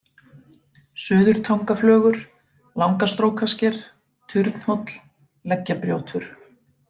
Suðurtangaflögur, Langastrókasker, Turnhóll, Leggjabrjótur